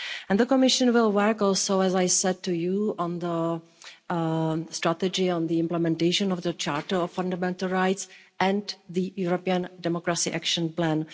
The Commission will work also, as I said to you, on the strategy on the implementation of the Charter of Fundamental Rights and the European Democracy Action Plan.